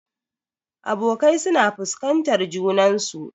Abokai suna fuskantar junansu.